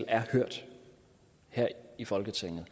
er hørt her i folketinget og